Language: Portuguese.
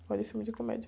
Gosto de filme de comédia.